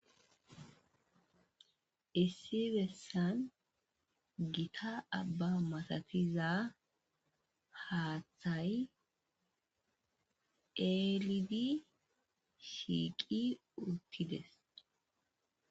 issi bessan gita abba masatiza haaththay eelidi shiiqi uttides